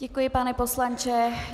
Děkuji, pane poslanče.